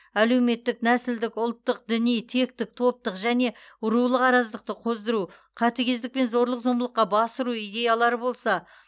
әлеуметтік нәсілдік ұлттық діни тектік топтық және рулық араздықты қоздыру қатыгездік пен зорлық зомбылыққа бас ұру идеялары болса